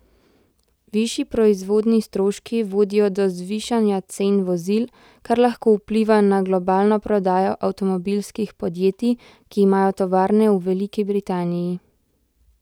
Višji proizvodnji stroški vodijo do zvišanja cen vozil, kar lahko vpliva na globalno prodajo avtomobilskih podjetij, ki imajo tovarne v Veliki Britaniji.